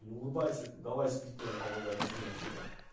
не улыбайся ты давай сиди тоже помогай мозги напрягай